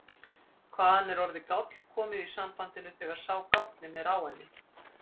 Hvaðan er orðið gáll komið í sambandinu þegar sá gállinn er á henni?